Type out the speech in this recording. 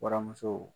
Waramuso